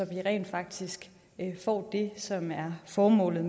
vi rent faktisk får det som er formålet